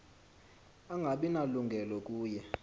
angabi nalungelo kuye